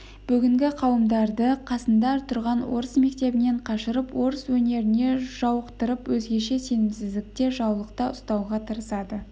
бүгінгі қауымдарды қасында тұрған орыс мектебінен қашырып орыс өнеріне жауықтырып өзгеше сенімсіздікте жаулықта ұстауға тырысады